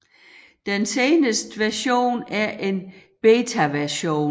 Den seneste version er en betaversion